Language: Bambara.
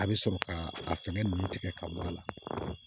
A bɛ sɔrɔ ka a fɛngɛ ninnu tigɛ ka bɔ a la